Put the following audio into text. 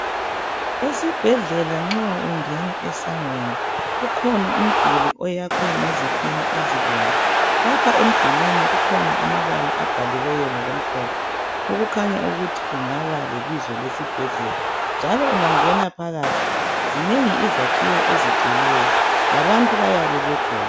Esibhedlela nxa ungena esangweni, kukhona umduli oyakhiwe ngezitina ezibomvu. Lapha emdulwini kukhona amabala abhaliweyo ngokumhlophe okukhanya ukuthi kungaba lebizo lesibhedlela njalo ungangena phakathi zinengi izakhiwo ezigcweleyo, labantu bayabe bekhona